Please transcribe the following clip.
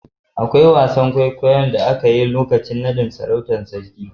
Akwai wasan kwaikwayon da aka yi a lokacin naɗn sarautar sarki